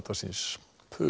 síns